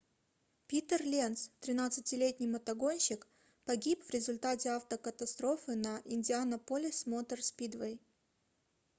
питер ленц 13-летний мотогонщик погиб в результате автокатастрофы на индианаполис мотор спидвей